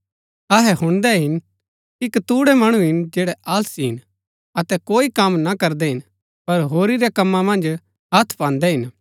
अहै हुणदै हिन कि कतूणै मणु हिन जैड़ै आलसी हिन अतै कोई कम ना करदै हिन पर होरी रै कमां मन्ज हथ पान्दै हिन